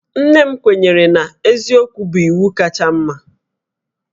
Nne m kwenyere na eziokwu bụ iwu kacha mma